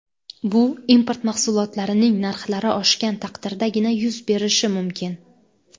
Bu import mahsulotlarining narxlari oshgan taqdirdagina yuz berishi mumkin.